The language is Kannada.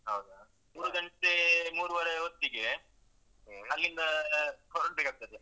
ಹೌದಾ? ಮೂರ್ ಗಂಟೆ ಮೂರೂವರೆ ಹೊತ್ತಿಗೆ ಅಲ್ಲಿಂದ ಹೊರಡ್ಬೇಕಾಗ್ತದೆ.